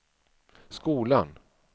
skolan